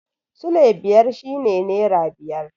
Sule biyar shi ne nera biyar